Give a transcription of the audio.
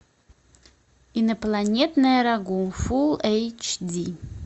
инопланетное рагу фулл эйч ди